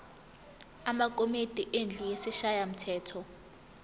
amakomidi endlu yesishayamthetho